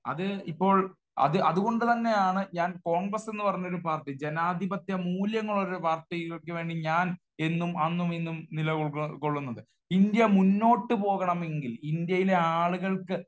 അത് ഇപ്പോൾ അത്കൊണ്ട് തന്നെയാണ് ഞാൻ കോൺഗ്രസ്സ് എന്നു പറഞ്ഞ ഒരു പാർട്ടി, ജനാധിപത്യ മൂല്യങ്ങൾ ഉള്ള പാർട്ടിക്കു വേണ്ടി ഞാൻ എന്നും അന്നും ഇന്നും നിലകൊള്ളുന്നത്. ഇന്ത്യ മുന്നോട്ട് പോകണമെങ്കിൽ ഇന്ത്യയിലെ ആളുകൾക്ക്